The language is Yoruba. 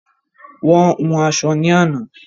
Wọ́n hun aṣọ ní àná